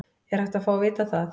Er hægt að fá að vita það?